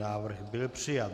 Návrh byl přijat.